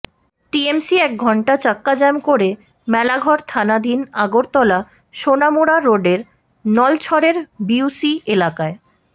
TMC এক ঘন্টা চাক্কা জ্যাম করে মেলাঘড় থানাধীন আগরতলা সোনামুড়া রোডের নলছড়ের বিওসি এলাকায়